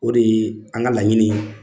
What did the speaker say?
O de ye an ka laɲini ye